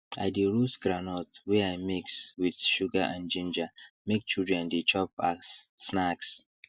i de roast groundnut wey i mix with sugar and ginger make children de chop as snacks